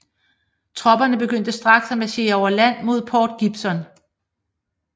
Tropperne begyndte straks at marchere over land mod Port Gibson